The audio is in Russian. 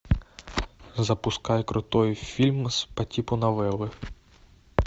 запускай крутой фильм по типу новеллы